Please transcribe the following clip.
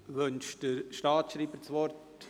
Wünscht der Staatsschreiber das Wort?